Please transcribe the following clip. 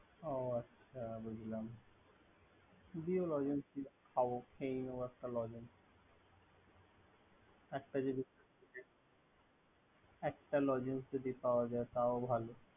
ও আচ্ছা বুঝলাম। দিও লজেন্স খাবো। খেয়ে নেব একটা লজেন্স। একটা লজেন্স যদি পাওয়া যায় তাও ভালো।